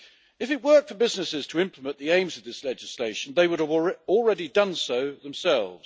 If it worked for businesses to implement the aims of this legislation they would have already done so themselves.